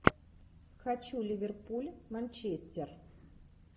хочу ливерпуль манчестер